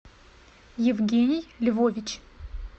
евгений львович